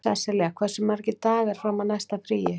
Sesselja, hversu margir dagar fram að næsta fríi?